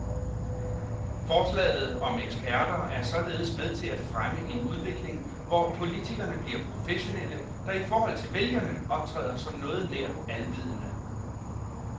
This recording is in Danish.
Forslaget om eksperter er således med til at fremme en udvikling, hvor politikerne bliver professionelle, der i forhold til vælgerne optræder som noget nær alvidende.